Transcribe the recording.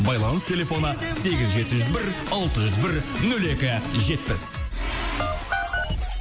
байланыс телефоны сегіз жеті жүз бір алты жүз бір нөл екі жетпіс